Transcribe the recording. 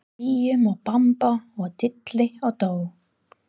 Bíum og bamba og dilli og dó.